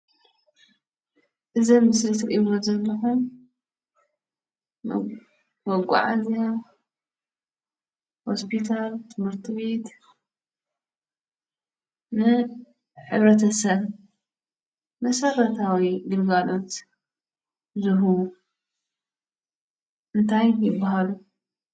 እዚ ኣብ ምስሊ እትርእዎ ዘለኩም መጓዓዝያ ሆስፒታል፣ ትምህርት ቤት ንሕ/ሰብ መሰረታዊ ግልጋሎት ዝህቡ እንታይ ይባሃሉ?